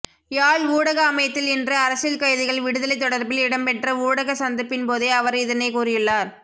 யாழ் ஊடக அமையத்தில் இன்று அரசியல் கைதிகள் விடுதலை தொடர்பில் இடம்பெற்ற ஊடக சந்திப்பின்போதே அவர் இதனைகூறியுள்ளார்